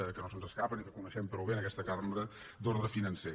que no se’ns escapen i que coneixem prou bé en aquesta cambra d’ordre financer